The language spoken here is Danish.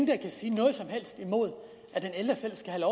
kan sige noget som helst imod at de ældre selv skal